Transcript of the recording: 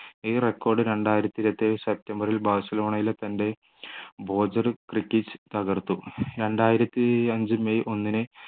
ഈ record രണ്ടായിരത്തി ഇരുപത്തിയേഴ് സെപ്റ്റംബറിൽ ബാഴ്സലോണയിലെ തൻ്റെ തകർത്തു രണ്ടായിരത്തിയഞ്ചു മെയ് ഒന്നിന്